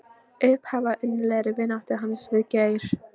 Upphaf að innilegri vináttu hans við Geir.